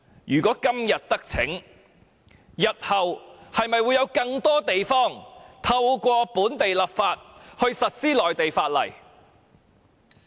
如果今天得逞，日後會否有更多地方透過本地立法實施內地法例？